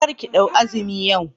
Karki ɗau azumi yau